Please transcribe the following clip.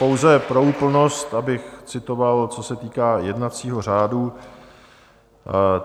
Pouze pro úplnost, abych citoval, co se týká jednacího řádu.